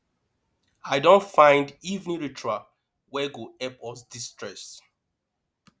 i don find evening ritual wey go help us destress